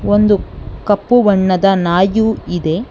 ಒಂದು ಕಪ್ಪು ಬಣ್ಣದ ನಾಯು ಇದೆ.